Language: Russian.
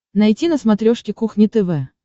найти на смотрешке кухня тв